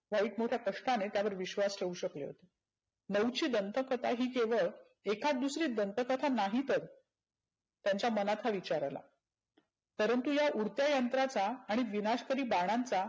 White मोठ्या कष्टाने त्यावर विश्वास ठेऊ शकले होते. नऊची दंत कथा ही केवळ एखाद दुसरी दंत कथा नाहीतच त्यांच्या मनात हा विचार आला. परंतु या उडत्या यंत्राचा आणि विनाशकारी बाणांचा